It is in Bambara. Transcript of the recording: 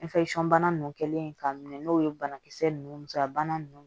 bana nunnu kɛlen k'a minɛ n'o ye banakisɛ nunnu bana nunnu